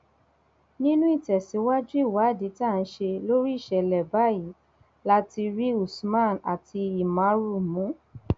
nínú ìtẹsíwájú ìwádìí tá a ṣe lórí ìṣẹlẹ báyìí la ti rí usman àti ìmàrú mú